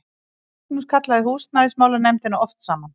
Magnús kallaði húsnæðismálanefndina oft saman.